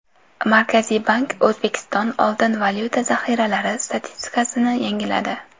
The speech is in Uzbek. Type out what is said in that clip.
Markaziy bank O‘zbekiston oltin-valyuta zaxiralari statistikasini yangiladi .